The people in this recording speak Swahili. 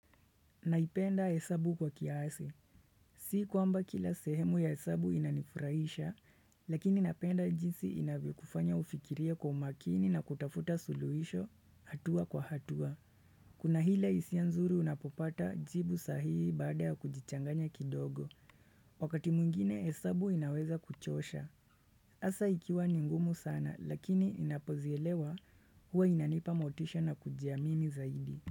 Naipenda hesabu kwa kiasi. Sikwamba kila sehemu ya hesabu inanifurahisha, lakini napenda jinsi inavyokufanya ufikirie kwa umakini na kutafuta suluhisho hatua kwa hatua. Kuna ile hisia nzuri unapopata jibu sahihi baada ya kujichanganya kidogo. Wakati mwingine hesabu inaweza kuchosha. Hasa ikiwa ni ngumu sana, lakini inapozielewa huwa inanipa motisha na kujiamini zaidi.